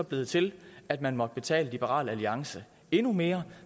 blevet til at man måtte betale liberal alliance endnu mere